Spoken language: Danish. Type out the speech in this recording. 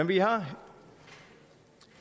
bliver